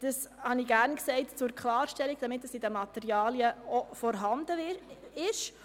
Das sage ich gerne zur Klarstellung, damit es auch in den Materialien vorhanden ist.